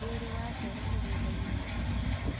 Nĩũrĩ wacera mũgũndainĩ wa kahũa.